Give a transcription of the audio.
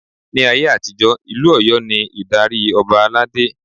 Ni ayé àtijó, Ìlú Ọ̀yọ́ ni ìdarí Ọba aládé.